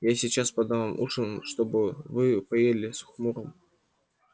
я сейчас подам вам ужин и чтоб вы поели с хмурым упрямством заявила мамушка и возмущённо зашагала на кухню